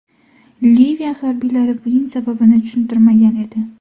Liviya harbiylari buning sababini tushuntirmagan edi.